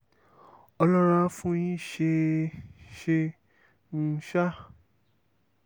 ọlọ́run á fún yín ṣe é ṣeé um sá